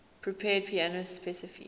prepared piano specify